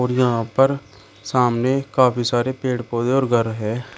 यहां पर सामने काफी सारे पेड़ पौधे और घर है।